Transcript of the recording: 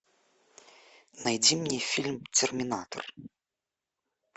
найди мне фильм терминатор